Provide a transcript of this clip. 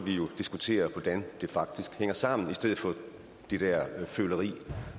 diskutere hvordan det faktisk hænger sammen i stedet for det der føleri